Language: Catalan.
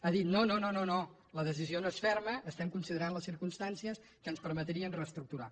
ha dit no no la decisió no és ferma considerem les circumstàncies que ens permetrien reestructurar